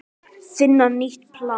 Finna nýtt plan.